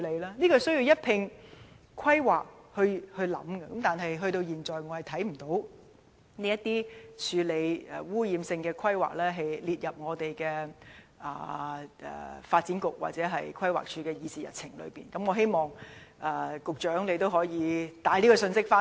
這些事情必須在進行規劃時一併考慮，但我至今仍看不到政府把如何處理這些污染性規劃列入發展局或規劃署的議事日程，我希望局長可以把這個信息帶回去。